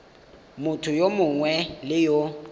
motho yo mongwe le yo